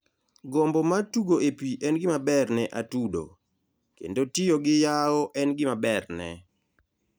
Gombo mar tugo e pi en gimaber ne atudo, kendo tiyo gi yawo en gima berne.